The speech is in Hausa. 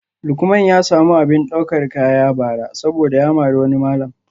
Lukman ya samu abin daukar kaya bara saboda ya mari wani malam